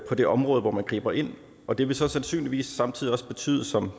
det område hvor man griber ind og det vil så sandsynligvis samtidig også betyde som